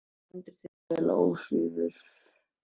Þú stendur þig vel, Ósvífur!